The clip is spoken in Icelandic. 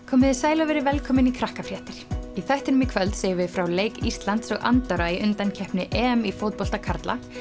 komiði sæl og verið velkomin í í þættinum í kvöld segjum við frá leik Íslands og Andorra í undankeppni í fótbolta karla